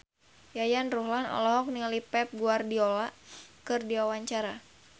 Yayan Ruhlan olohok ningali Pep Guardiola keur diwawancara